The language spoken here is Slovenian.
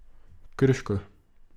Krško.